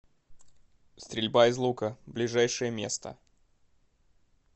стрельба из лука ближайшее место